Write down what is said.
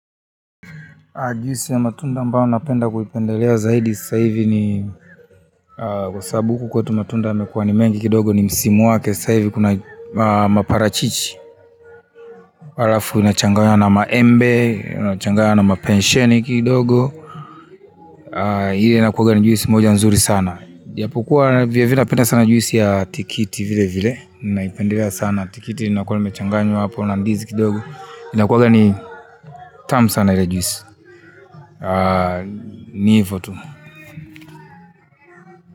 Juisi ya matunda ambao napenda kuipendelea zaidi sasa hivi ni kwa sababu huku kwetu matunda yamekuwa ni mengi kidogo ni msimu wake sasa hivi kuna maparachichi alafu inachangaya na maembe, inachangaya na mapensheni kidogo ile inakuwanga ni juisi moja nzuri sana ijapokuwa vile vile napenda sana juisi ya tikiti vile vile ninaipendelea sana tikiti linakuwa limechanganywa hapo na ndizi kidogo inakuwanga ni tamu sana ile juisi ni hivo tu.